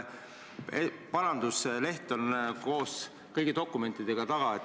Parandusega leht on koos kõigi dokumentidega taga.